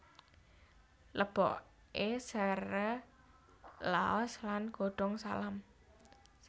Leboke sere laos lan godhong salam